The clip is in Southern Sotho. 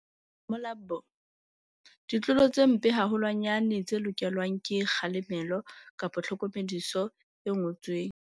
Molapo. Ditlolo tse mpe haholwanyane tse lokelwang ke kgalemelo tlhokomediso e ngotsweng.